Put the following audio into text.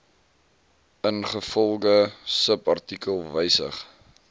ingevolge subartikel wysig